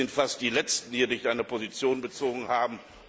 Wir sind fast die Letzten, die hier noch keine Position bezogen haben.